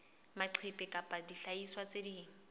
maqephe kapa dihlahiswa tse ding